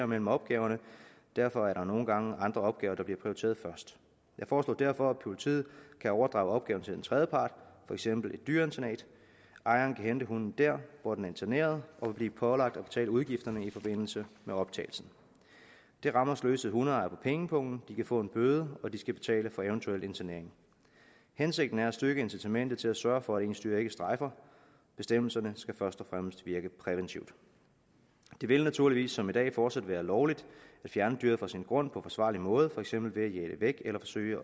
mellem opgaverne og derfor er der nogle gange andre opgaver der bliver prioriteret først jeg foreslår derfor at politiet kan overdrage opgaven til en tredjepart for eksempel et dyreinternat ejeren kan hente hunden der hvor den er interneret og blive pålagt at betale udgifterne i forbindelse med optagelsen det rammer sløsede hundeejere på pengepungen de kan få en bøde og de skal betale for en eventuel internering hensigten er at styrke incitamentet til at sørge for at ens dyr ikke strejfer bestemmelserne skal først og fremmest virke præventivt det vil naturligvis som i dag fortsat være lovligt at fjerne dyret fra sin grund på forsvarlig måde for eksempel ved at jage det væk eller forsøge